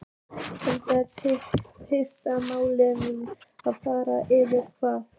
Engir peningar máttu fara yfir hafið.